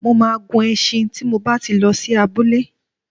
Mo máa gun e̩s̩in tí mo bá ti lo̩ sí abúlé.